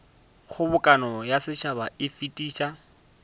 kgobokano ya setšhaba e fetiša